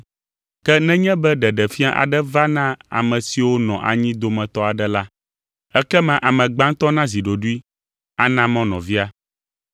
Ke nenye be ɖeɖefia aɖe va na ame siwo nɔ anyi dometɔ aɖe la, ekema ame gbãtɔ nazi ɖoɖoe, ana mɔ nɔvia.